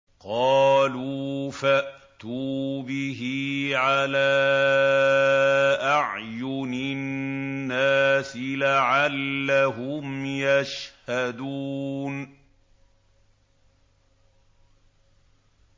قَالُوا فَأْتُوا بِهِ عَلَىٰ أَعْيُنِ النَّاسِ لَعَلَّهُمْ يَشْهَدُونَ